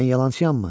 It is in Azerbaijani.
Mən yalançıyam mı?